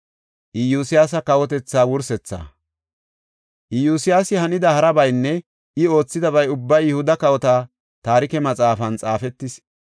Iyosyaasi hanida harabaynne I oothidabay ubbay Yihuda Kawota Taarike Maxaafan xaafetis.